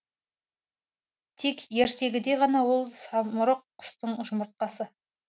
тек ертегіде ғана ол самұрық құстың жұмыртқасы